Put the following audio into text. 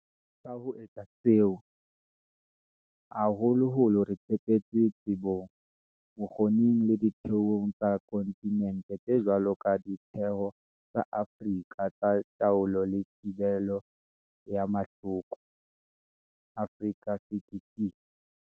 Ka ho etsa seo, haholoholo re tshepetse tsebong, bokgo ning le ditheong tsa konti nente tse jwalo ka Ditheo tsa Afrika tsa Taolo le Thibelo ya Mahloko, Africa CDC.